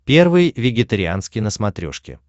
первый вегетарианский на смотрешке